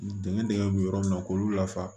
Dingɛn dingɛ bɛ yɔrɔ min na k'olu lafa